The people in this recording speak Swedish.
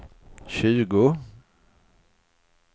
tjugo